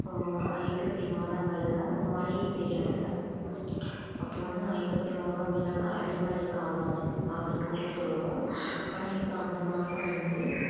ஆஹ் ஐப்பசி மாதங்கள்ல மழையே பெய்றதுல்ல அப்ப வந்து ஐப்பசி மாதம் அப்படின்னாக்கா அடை மழை காலம் அப்படின்னு கூட சொல்லுவோம் ஆனா இப்ப அந்த மாசம் வந்து